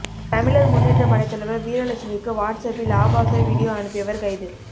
தமிழர் முன்னேற்ற படை தலைவர் வீரலட்சுமிக்கு வாட்ஸ் அப்பில் ஆபாச வீடியோ அனுப்பியவர் கைது